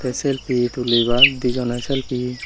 te selfie tulibar di jone selfie.